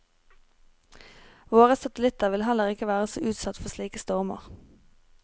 Våre satellitter vil heller ikke være så utsatte for slike stormer.